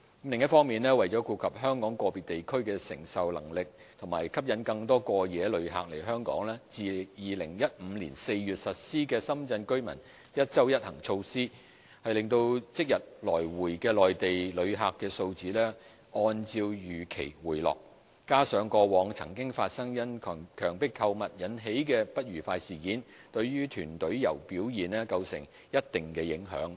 另一方面，為顧及香港個別地區的承受能力和吸引更多過夜旅客來港，自2015年4月實施了深圳居民"一周一行"措施，令即日來回的內地旅客數字按照預期回落；加上過往曾發生因強迫購物引起的不愉快事件，對團隊遊表現構成一定的影響。